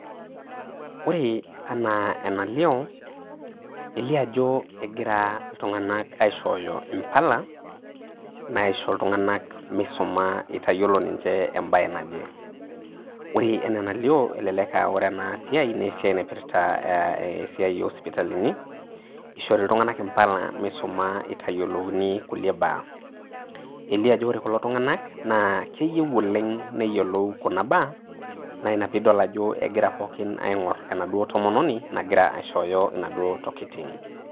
Ore ena enalio elio ajo egira aishooyo mpala naisho iltungana misuma itayiolo embae naje. Ore ena enalio ore ena siai naa esiai naipirta esiai osipitalini nishori iltungana mpala misuma itayiolouni kuna baa. Elio ajo ore kulo tungana naa keyieu ooleng neyiolou kuna baa na ina pee idol ajo egira pooki ningor enaduo tomononi nagira aishooyo inaduo tokitin.